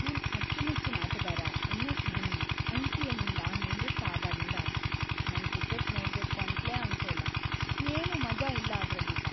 ನನ್ ಅಚ್ಚುಮೆಚ್ಚಿನ್‌ ಆಟಗಾರ ಎಂ.ಎಸ್.ಧೋನಿ ಐ.ಪಿ.ಎಲ್‌.ಇಂದ ನಿವೃತ್ತ ಆದಾಗಿಂದ, ನಂಗ್‌ ಕ್ರಿಕೆಟ್‌ ನೋಡ್ಬೇಕು ಅಂತ್ಲೇ ಅನ್ಸೋಲ್ಲ.. ಏನೂ ಮಜಾ ಇಲ್ಲ ಅದ್ರಲ್ಲೀಗ.